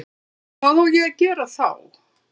Hvað á ég að gera þá?